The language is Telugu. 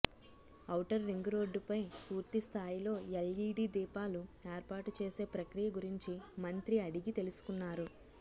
అవుటర్ రింగ్ రోడ్డుపై పూర్తి స్థాయిలో ఎల్ఈడీ దీపాలు ఏర్పాటు చేసే ప్రక్రియ గురించి మంత్రి అడిగి తెలుసుకున్నారు